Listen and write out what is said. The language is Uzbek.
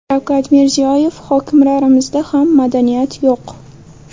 Shavkat Mirziyoyev: Hokimlarimizda ham madaniyat yo‘q.